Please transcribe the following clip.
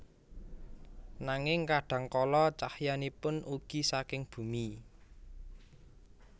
Nanging kadhang kala cahyanipun ugi saking bumi